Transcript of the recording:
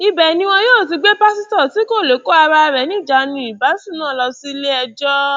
ibẹ ni wọn yóò ti gbé pásítọ tí kò lè kó ara ẹ níjànú ìbásùn náà lọ síléẹjọ